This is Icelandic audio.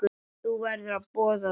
Þú verður að boða það.